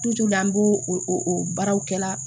an b'o o baaraw kɛla